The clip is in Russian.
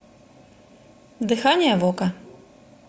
дыхание вока